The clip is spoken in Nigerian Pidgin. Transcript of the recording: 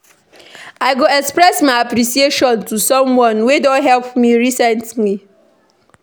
I go express my appreciation to someone wey don help me recently.